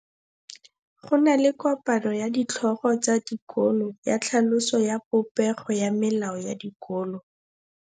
Go na le kopanô ya ditlhogo tsa dikolo ya tlhaloso ya popêgô ya melao ya dikolo.